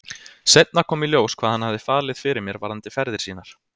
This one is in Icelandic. Seinna kom í ljós hvað hann hafði falið fyrir mér varðandi ferðir sínar.